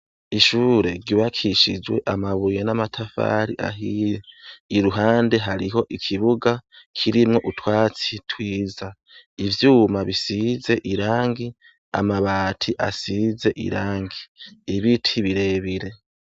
Ishure ryubakishijwe amabuye n'amatafari ahiye iruhande hariho ikibuga kirimwo utwatsi twiza ivyuma bisize irangi amabati asize irangi ibiti birebire.